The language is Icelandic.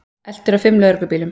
Eltur af fimm lögreglubílum